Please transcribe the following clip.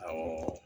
Awɔ